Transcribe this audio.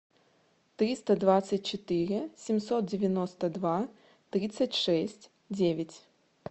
триста двадцать четыре семьсот девяносто два тридцать шесть девять